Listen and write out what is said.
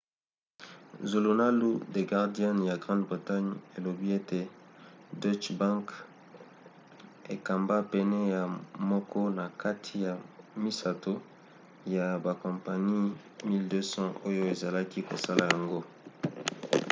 zulunalu the guardian ya grande bretagne elobi ete deutsche bank ekamba pene ya moko na kati ya misato ya bakompani 1200 oyo ezalaki kosala yango